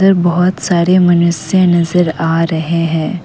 बहुत सारे मनुष्य नजर आ रहे हैं।